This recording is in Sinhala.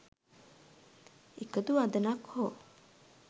එකදු වදනක් හෝ